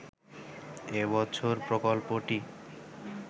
এ বছর প্রকল্পটি